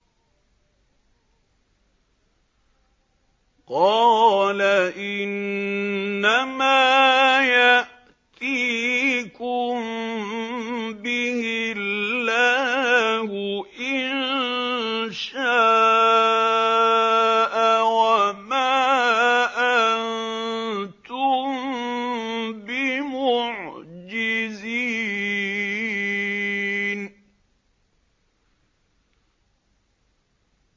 قَالَ إِنَّمَا يَأْتِيكُم بِهِ اللَّهُ إِن شَاءَ وَمَا أَنتُم بِمُعْجِزِينَ